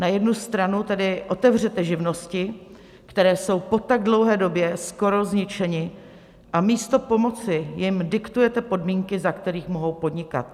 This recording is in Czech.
Na jednu stranu tedy otevřete živnosti, které jsou po tak dlouhé době skoro zničeny, a místo pomoci jim diktujete podmínky, za kterých mohou podnikat.